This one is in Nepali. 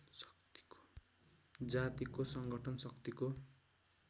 जातिको सङ्गठन शक्तिको